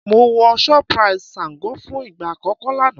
Mo wọ shoprite Sango fún ìgbà àkọ́kọ́ lánàá